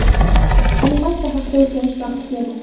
animatsiya haqida o‘rganish vaqti keldi.